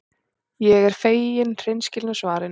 Ég er fegin hreinskilnu svarinu.